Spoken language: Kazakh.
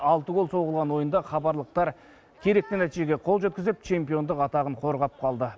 алты гол соғылған ойында хабарлықтар керекті нәтижеге қол жеткізіп чемпиондық атағын қорғап қалды